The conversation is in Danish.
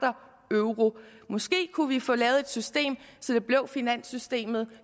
euro måske kunne vi få lavet et system så det blev finanssystemet